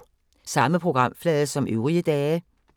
Samme programflade som øvrige dage